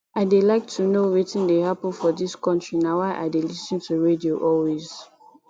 i dey like to dey know wetin dey happen for dis country na why i dey lis ten to radio always